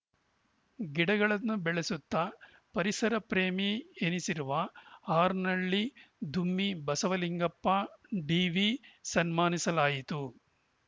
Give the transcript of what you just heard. ಗಿಡಗಳನ್ನು ಬೆಳೆಸುತ್ತ ಪರಿಸರ ಪ್ರೇಮಿ ಎನಿಸಿರುವ ಹಾರ್ನಹಳ್ಳಿ ದುಮ್ಮಿ ಬಸವಲಿಂಗಪ್ಪ ಡಿವಿ ಸನ್ಮಾನಿಸಲಾಯಿತು